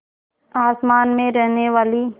आसमान में रहने वाली